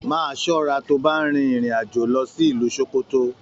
Máa ṣọra to bá n rin irin-ajo lọ sí ìlú Sókótó!